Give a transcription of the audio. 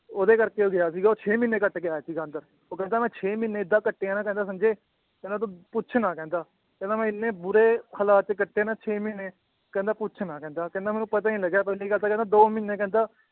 ਉਹਦੇ ਕਰਕੇ ਉਹ ਗਿਆ ਸੀਗਾ ਉਹ ਛੇ ਮਹੀਨੇ ਕੱਟਕੇ ਆਇਆ ਸੀਗਾ ਅੰਦਰ, ਉਹ ਕਹਿੰਦਾ ਮੈਂ ਛੇ ਮਹੀਨੇ ਏਦਾਂ ਕੱਟੇ ਆ ਨਾ ਕਹਿੰਦਾ ਸੰਜੇ ਕਹਿੰਦਾ ਤੂੰ ਪੁੱਛ ਨਾ ਕਹਿੰਦਾ, ਕਹਿੰਦਾ ਮੈਂ ਇੰਨੇ ਬੁਰੇ ਹਾਲਾਤ ਕੱਟੇ ਨਾ ਛੇ ਮਹੀਨੇ ਕਹਿੰਦਾ ਪੁੱਛ ਨਾ ਕਹਿੰਦਾ ਕਹਿੰਦਾ ਮੈਨੂੰ ਪਤਾ ਹੀ ਨੀ ਲੱਗਿਆ ਪਹਿਲੀ ਗੱਲ ਤਾਂ ਕਹਿੰਦਾ ਦੋ ਮਹੀਨੇ ਕਹਿੰਦਾ